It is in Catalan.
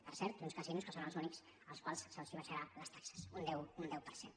per cert uns casinos que són els únics als quals s’abaixarà les taxes un deu per cent